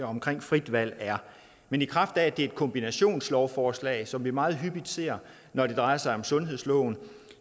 omkring frit valg er men i kraft af at det er et kombinationslovforslag som vi meget hyppigt ser når det drejer sig om sundhedsloven